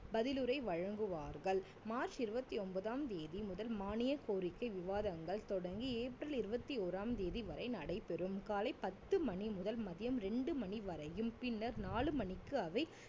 பதிலுரை வழங்குவார்கள் மார்ச் இருவத்தி ஒன்பதாம் தேதி முதல் மானிய கோரிக்கை விவாதங்கள் தொடங்கி ஏப்ரல் இருவத்தி ஓறாம் தேதி வரை நடைபெறும் காலை பத்து மணி முதல் மதியம் ரெண்டு மணி வரையும் பின்னர் நாலு மணிக்கு அவை